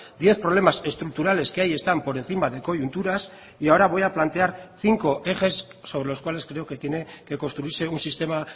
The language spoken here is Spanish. diez problemas estructurales que ahí están por encima de coyunturas y ahora voy a plantear cinco ejes sobre los cuales creo que tiene que construirse un sistema